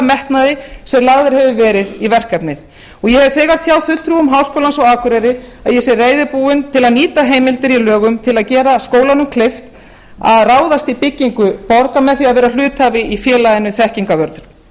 metnaði sem lagður hefur verið í verkefnið ég hef þegar tjáð fulltrúum háskólans á akureyri að ég sé reiðubúin til að nýta heimildir í lögum til að gera skólanum kleift að ráðast í byggingu með því að vera hluthafi í félaginu þekkingarvörn